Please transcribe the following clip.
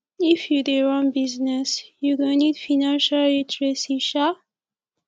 if you dey run business you go need financial literacy um